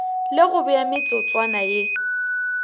le go bea metsotswana ye